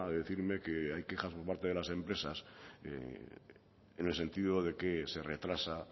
decirme que hay quejas por parte de las empresas en el sentido de que se retrasa